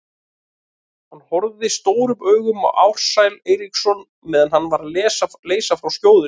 Hann horfði stórum augum á Ársæl Eiríksson meðan hann var að leysa frá skjóðunni.